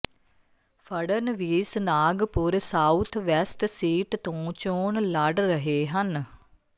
Fadnavis Nagpur south west seat ਤੋਂ ਚੋਣ ਲੜ ਰਹੇ ਹਨ